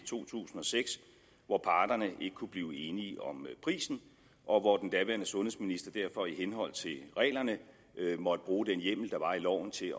to tusind og seks hvor parterne ikke kunne blive enige om prisen og hvor den daværende sundhedsminister derfor i henhold til reglerne måtte bruge den hjemmel der var i loven til at